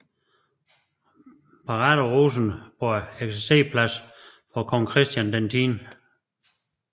Parade på Rosenborg eksercerplads for kong Christian X